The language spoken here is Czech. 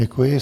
Děkuji.